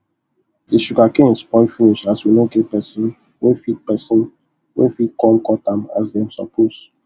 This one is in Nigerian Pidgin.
the sugarcane spoil finish as we no get pesin wey fit pesin wey fit come cut am as dem suppose